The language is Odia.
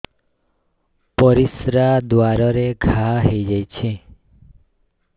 ପରିଶ୍ରା ଦ୍ୱାର ରେ ଘା ହେଇଯାଇଛି